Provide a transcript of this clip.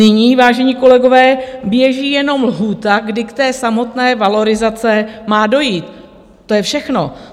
Nyní, vážení kolegové, běží jenom lhůta, kdy k té samotné valorizaci má dojít, to je všechno.